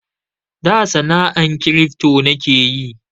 Da sana'an kiripto nike yi